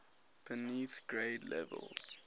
beneath grade levels